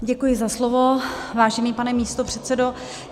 Děkuji za slovo, vážený pane místopředsedo.